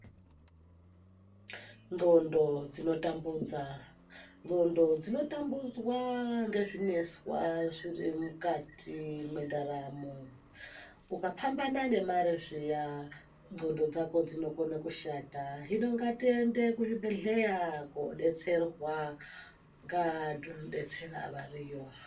Ndxondo dzinotambudza, ndxondo dzinotambudzwa ngezvineswa zvirimukati mwendaramo. Ukapambana nemare zviya ndxondo dzako dzinokona kushata, hino ngatiende kuzvibhedhleya kobetserwa ngevantu anodetsera ariyo.